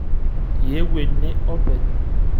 Iyiewuo ene openy?